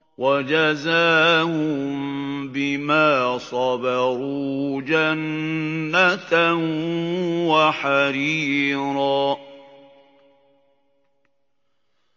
وَجَزَاهُم بِمَا صَبَرُوا جَنَّةً وَحَرِيرًا